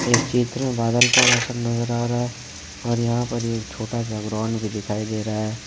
इस चित्र में बादल का मौसम नजर आ रहा है और यहां पर एक छोटा सा ग्राउंड भी दिखाई दे रहा है।